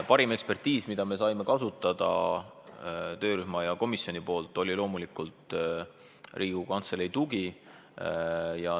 Parim ekspertiis, mida töörühm ja komisjon kasutada said, oli loomulikult Riigikogu Kantselei tugi.